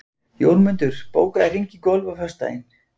Jómundur, bókaðu hring í golf á föstudaginn.